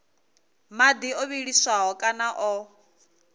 madi o vhiliswaho kana o